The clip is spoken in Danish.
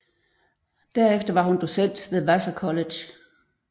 Derefter var hun docent ved Vassar College